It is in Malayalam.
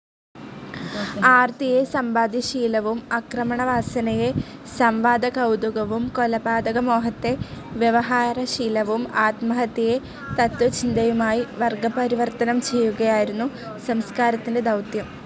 ആർത്തിയെ സമ്പാദ്യശീലവും, ആക്രമണവാസനയെ സം‌വാദകൗതുകവും, കൊലപാതകമോഹത്തെ വ്യവഹാരശീലവും, ആത്മഹത്യയെ തത്ത്വചിന്തയുമായി വർഗ്ഗപരിവർത്തനം ചെയ്യുകയായിരുന്നു സംസ്കാരത്തിന്റെ ദൗത്യം.